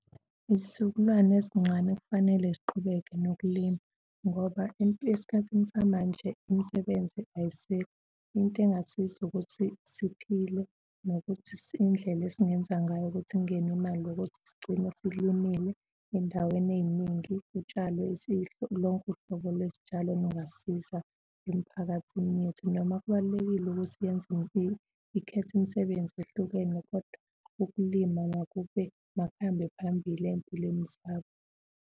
Izizukulwane ezincane kufanele ziqhubeke nokulima ngoba esikhathini samanje imisebenzi ayiseko. Into engasiza ukuthi siphile nokuthi indlela esingenza ngayo ukuthi kungene imali yokuthi sigcine silimile ey'ndaweni ey'ningi kutshalwe lonke uhlobo lwezitshalo olungasiza emiphakathini yethu. Noma kubalulekile ukuthi yenze ikhethe imisebenzi ehlukene kodwa ukulima makube makuhambe phambili ey'mpilweni zabo.